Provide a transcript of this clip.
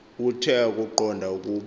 uthe akuqonda ukuba